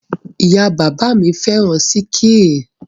Ìyá-bàbá mi féràn sííkì.